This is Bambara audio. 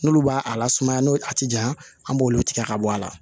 N'olu b'a la sumaya n'o a tɛ janya an b'olu tigɛ ka bɔ a la